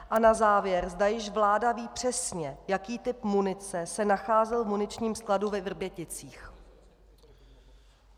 A na závěr, zda již vláda ví přesně, jaký typ munice se nacházel v muničním skladu ve Vrběticích.